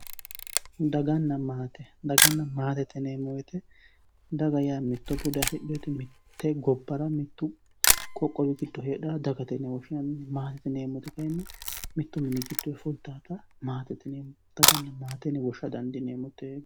Daganna maate, daganna maatete yineemmo woyte daga yaa mitto bude affidhinote mite gobbara mittu qoqqowi giddo heedhanotta dagate yinne woshshinanni, maatete yineemmoti kayinni mitu mini giddonni fulittanotta maatete yineemmo ,daganna maate yinne woshsha dandiineemmo tenne.